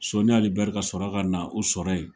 Sɔni Ali Bɛri ka sɔrɔ ka na o sɔrɔ yen.